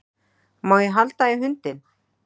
Má ég halda í hundinn?